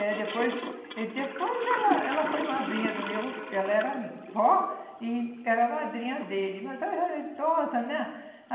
É, depois... Depois ela ela foi madrinha do meu... Ela era vó e era madrinha dele, mas ela já era idosa, né?